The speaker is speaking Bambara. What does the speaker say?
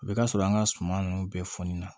A bɛ ka sɔrɔ an ka suman ninnu bɛɛ fɔni na